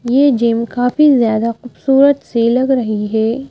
ये जिम काफी ज्यादा खूबसूरत से लग रही है ।